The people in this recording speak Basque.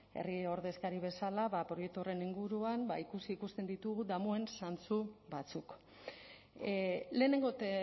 herri ordezkari bezala ba proiektu horren inguruan ba ikusi ikusten ditugu damuen zantzu batzuk lehenengo eta